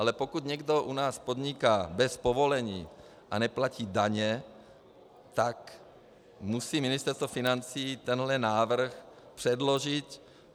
Ale pokud někdo u nás podniká bez povolení a neplatí daně, tak musí Ministerstvo financí tenhle návrh předložit.